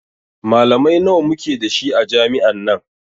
Malamai nawa muke da shi a jami'an nan